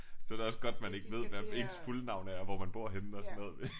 Så er det også godt man ikke ved hvad ens fulde navn er og hvor man bor henne og sådan noget